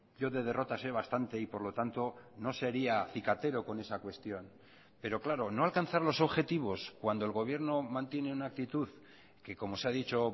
yo de derrotas sé bastante y por lo tanto no sería cicatero con esa cuestión pero claro no alcanzar los objetivos cuando el gobierno mantiene una actitud que como se ha dicho